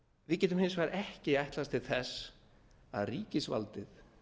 við getum hins vegar ekki ætlast til þess að ríkisvaldið